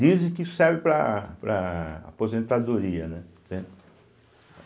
Dizem que isso serve para para a aposentadoria, né? entende